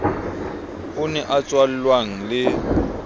o ne a tswallwang le